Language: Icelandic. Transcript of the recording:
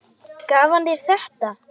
Gaf hann þér þetta?